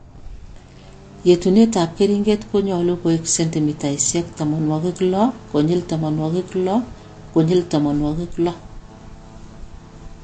yetunetap keringet konyolu koek sendimitaisyek tamanwokik lo konyil tamanwokik lo konyil tamanwokik lo